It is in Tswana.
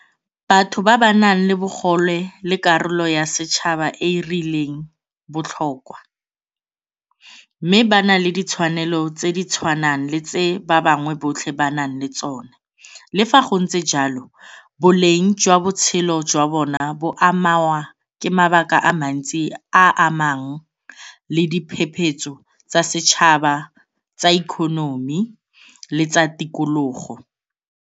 Batho ba ba nang le bogole le karolo ya setšhaba e e rileng botlhokwa mme ba na le ditshwanelo tse di tshwanang le tse ba bangwe botlhe ba nang le tsone. Le fa go ntse jalo, boleng jwa botshelo jwa bona bo amanngwa ke mabaka a mantsi a a amang le diphephetso tsa setšhaba tsa economy le tsa tikologo.